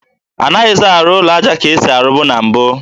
Anaghịzị arụ ụlọ aja ụlọ ka e si arụbu na mbụ